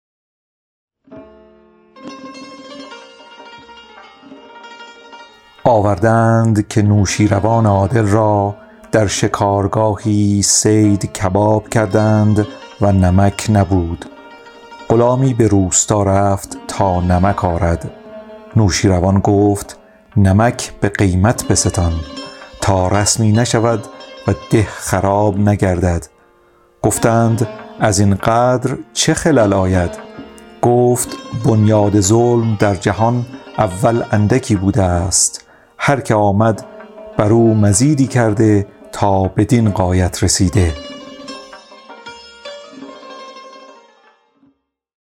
آورده اند که نوشین روان عادل را در شکارگاهی صید کباب کردند و نمک نبود غلامی به روستا رفت تا نمک آرد نوشیروان گفت نمک به قیمت بستان تا رسمی نشود و ده خراب نگردد گفتند از این قدر چه خلل آید گفت بنیاد ظلم در جهان اول اندکی بوده است هر که آمد بر او مزیدی کرده تا بدین غایت رسیده اگر ز باغ رعیت ملک خورد سیبی بر آورند غلامان او درخت از بیخ به پنج بیضه که سلطان ستم روا دارد زنند لشکریانش هزار مرغ به سیخ